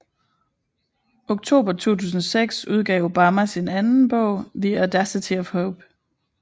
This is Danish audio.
Oktober 2006 udgav Obama sin anden bog The audacity of hope